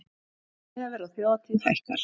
Miðaverð á þjóðhátíð hækkar